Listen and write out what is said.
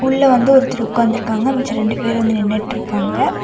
உள்ள வந்து ஒருத்தர் உக்காந்துருக்காங்க மிச்ச ரெண்டு பேர் வந்து நின்னுட்ருக்காங்க.